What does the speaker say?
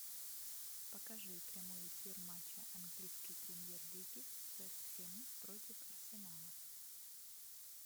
покажи прямой эфир матча английской премьер лиги вест хэм против арсенала